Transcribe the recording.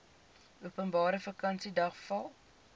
openbare vakansiedag val